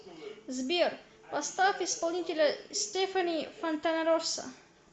сбер поставь исполнителя стефани фонтанароса